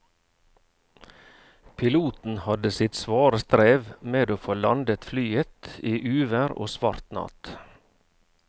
Piloten hadde sitt svare strev med å få landet flyet i uvær og svart natt.